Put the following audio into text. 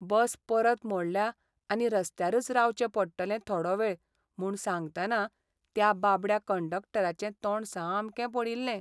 बस परत मोडल्या आनी रस्त्यारच रावचें पडटलें थोडो वेळ म्हूण सांगतना त्या बाबड्या कंडक्टराचें तोंड सामकें पडिल्लें.